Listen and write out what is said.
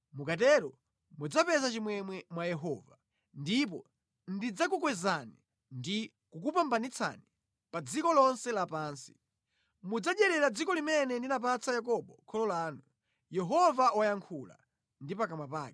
mukatero mudzapeza chimwemwe mwa Yehova, ndipo ndidzakukwezani ndi kukupambanitsani pa dziko lonse lapansi. Mudzadyerera dziko limene ndinapatsa Yakobo kholo lanu.” Yehova wayankhula ndi pakamwa pake.